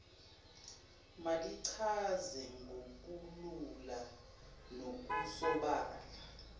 malichaze ngokulula nokusobala